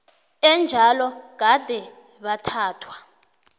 enjalo gade bathathwa